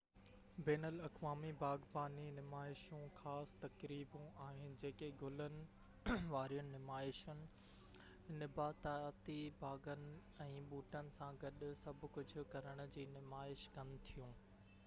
بين الاقوامي باغباني نمائشون خاص تقريبون آهن جيڪي گلن وارين نمائشن نباتاتي باغن ۽ ٻوٽن سان گڏ سڀ ڪجهه ڪرڻ جي نمائش ڪن ٿيون